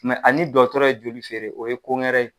a ni dɔgɔtɔrɔ ye joli feere , o ye ko wɛrɛ ye.